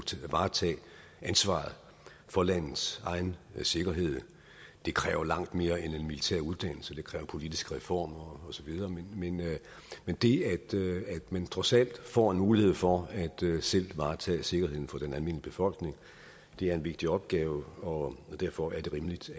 varetage ansvaret for landets egen sikkerhed det kræver langt mere end en militær uddannelse det kræver politiske reformer osv men det at man trods alt får en mulighed for at selv varetage sikkerheden for den almindelige befolkning er en vigtig opgave og derfor er det rimeligt